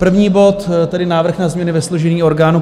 První bod, tedy Návrh na změny ve složení orgánů